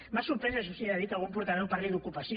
m’ha sorprès això sí sentir que algun portaveu parli d’ocupació